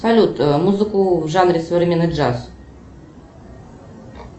салют музыку в жанре современный джаз